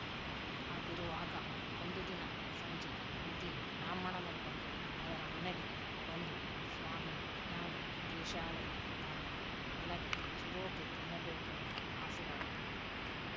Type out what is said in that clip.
ಹಾಗಿರುವಾಗ ಒಂದು ದಿನ ಸಂಜೆ ಮುದಿಬ್ರಾಹ್ಮಣನೊಬ್ಬ ಅವರ ಮನೆಗೆ ಬಂದು ಸ್ವಾಮಿ ನಾನು ದೇಶಾವರಿ ಬ್ರಾಹ್ಮಣ ನನಗೆ ಚಿರೋಟಿ ತಿನ್ನ ಬೇಕೆಂಬ ಅಸೆಯಾಗಿದೆ